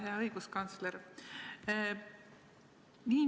Hea õiguskantsler!